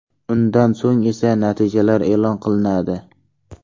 Undan so‘ng esa natijalar e’lon qilinadi.